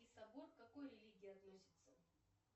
сабор к какой религии относитсяе